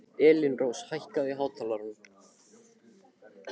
Elínrós, hækkaðu í hátalaranum.